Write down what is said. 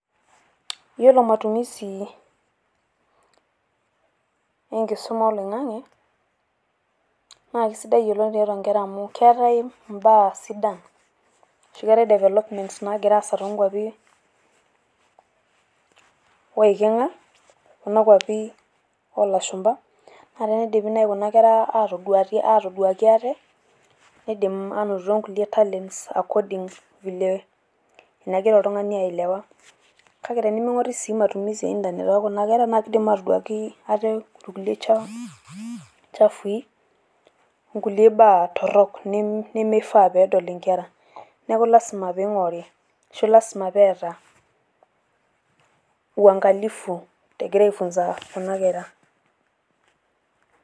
iyiolo matumisi enkisuma oloing'ang'e naa kesidai oleng tiatua nkera amu keetae ibaa sidan. ashu keetae developments naagira aasa too nkuapi oiking'a, oolashumpa, naa kidim naaji kuna kera atoduaki ate, kidim kuna aanoto talents according vile nagira oltungsni aelewa .kake teniming'ori sii kidim inkera atoduaa kulie tokitin chafui, kulie baatorok neimeifaa nedol nkera. neeku kifaa pee ing'ori ashu pee eeta uangalifu kuna kera.